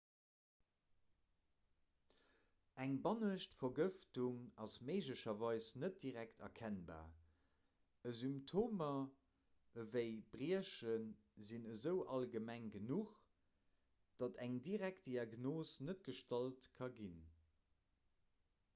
eng bannescht vergëftung ass méiglecherweis net direkt erkennbar symptomer ewéi briechen sinn esou allgemeng genuch datt eng direkt diagnos net gestallt ka ginn